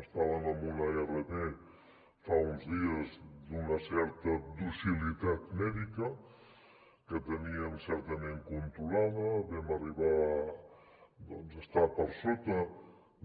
estàvem en una rt fa uns dies d’una certa docilitat mèdica que teníem certament controlada vam arribar a estar per sota